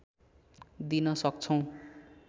दिन सक्छौँ